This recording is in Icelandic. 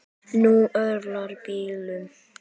Nú örlar á bílum.